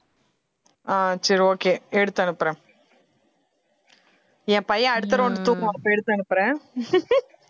ஆஹ் சரி okay எடுத்து அனுப்பறேன் என் பையன் அடுத்த round தூக்குவான் அப்ப எடுத்து அனுப்புறேன்